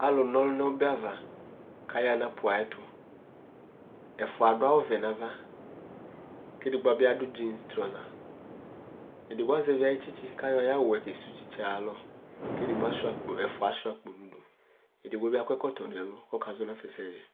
alo na ɔlo no ɔba ava ko aya no aƒu ayɛto ɛfoa ado awu vɛ no ava ko ɛdi bi ado jins trɔsa edigbo azɛvi ayi tsitsi ko ayɔ ayi awuɛ kesu tsitsiɛ ayalɔ ko edigbo ɛfoa asua akpo edigbo bi akɔ ɛkɔtɔ no ɛlo ko ɔkazɔ no afa ɛsɛ di